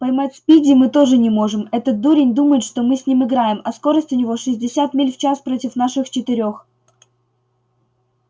поймать спиди мы тоже не можем этот дурень думает что мы с ним играем а скорость у него шестьдесят миль в час против наших четырёх